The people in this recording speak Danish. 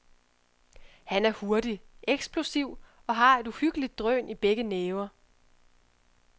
Han er hurtig, eksplosiv og har et uhyggeligt drøn i begge næver.